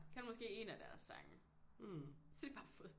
Kan måske én af deres sange så har de bare fået